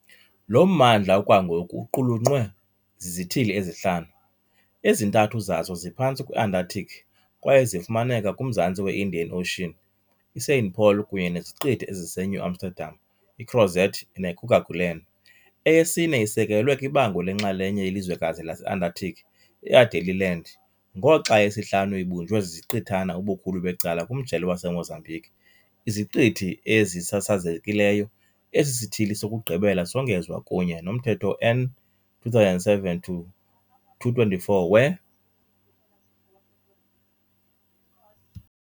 Lo mmandla okwangoku uqulunqwe zizithili ezihlanu- ezintathu zazo ziphantsi kwe-Antarctic kwaye zifumaneka kumzantsi we- Indian Ocean, iSaint-Paul kunye neziqithi eziseNew Amsterdam, iCrozet neKerguelen, eyesine isekelwe kwibango lenxalenye yelizwekazi lase-Antarctic, Adélie Land, ngoxa eyesihlanu ibunjwe ziziqithana ubukhulu becala kumjelo waseMozambique, iZiqithi Ezisasazekileyo, esi sithili sokugqibela songezwa kunye nomthetho n 2007-224 we-.